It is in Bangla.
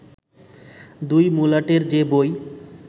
দুই মলাটের যে বই